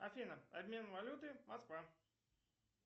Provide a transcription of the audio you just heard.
афина обмен валюты москва